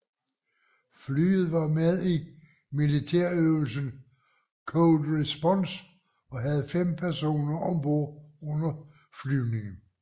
Flyet var med i militærøvelsen Cold Response og havde fem personer om bord under flyvningen